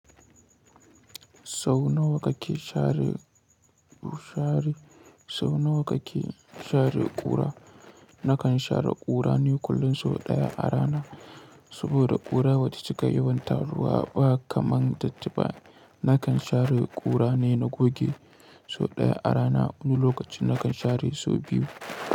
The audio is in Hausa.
Sau nawa kake share ƙura? Nakan share ƙura ne kullum sau ɗaya a rana. Saboda ƙura bata cika yawan taruwa ba kamar datti ba. Nakan share ƙura ne na goge sau ɗaya a rana wani lokacin nakan share sau biyu.